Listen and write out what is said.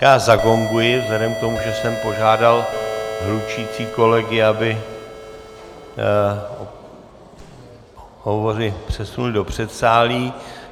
Já zagonguji vzhledem k tomu, že jsem požádal hlučící kolegy, aby hovory předsunuli do předsálí.